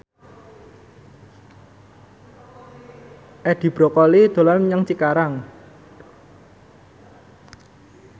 Edi Brokoli dolan menyang Cikarang